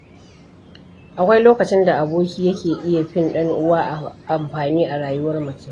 Akwai lokacin da aboki yake iya fin ɗan'uwa amfani a rayuwar mutum.